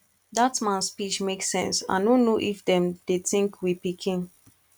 dat man speech make sense i no know if dem dey think we pikin